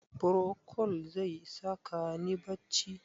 Procold zai saka ni bacci?